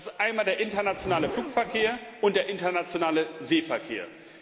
Das sind der internationale Flugverkehr und der internationale Seeverkehr.